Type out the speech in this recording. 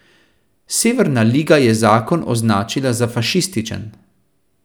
Severna liga je zakon označila za fašističen.